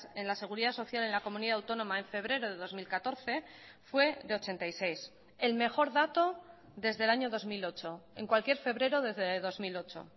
en la seguridad social en la comunidad autónoma en febrero de dos mil catorce fue de ochenta y seis el mejor dato desde el año dos mil ocho en cualquier febrero desde dos mil ocho